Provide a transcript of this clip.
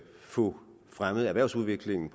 få fremmet erhvervsudviklingen